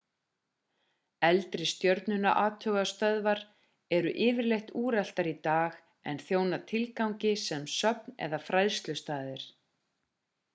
eldri stjörnuathugunarstöðvar eru yfirleitt úreltar í dag en þjóna tilgangi sem söfn eða fræðslustaðir